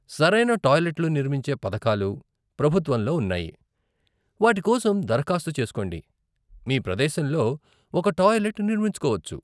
సరైన టాయిలెట్లు నిర్మించే పథకాలు ప్రభుత్వంలో ఉన్నాయి, వాటి కోసం దరఖాస్తు చేసుకోండి, మీ ప్రదేశంలో ఒక టాయిలెట్ నిర్మించుకోవచ్చు.